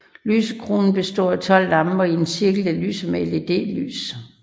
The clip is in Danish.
Lysekronen består af 12 lamper i en cirkel der lyser med LED lys